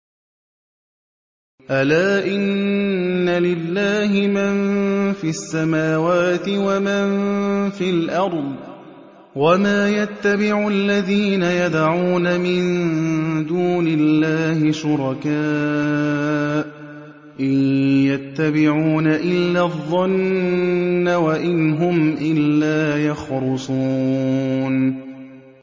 أَلَا إِنَّ لِلَّهِ مَن فِي السَّمَاوَاتِ وَمَن فِي الْأَرْضِ ۗ وَمَا يَتَّبِعُ الَّذِينَ يَدْعُونَ مِن دُونِ اللَّهِ شُرَكَاءَ ۚ إِن يَتَّبِعُونَ إِلَّا الظَّنَّ وَإِنْ هُمْ إِلَّا يَخْرُصُونَ